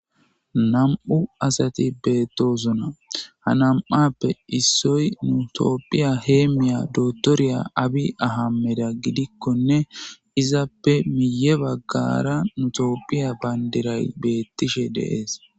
nam7u asati beettosona ha nam7appe issoy nutopphiya heemmiya dotoriya abi ahameda gidikkonne izappe miye baggara nutoopphiya bayndiray beettishe deees